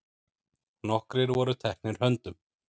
Nokkrir voru teknir höndum.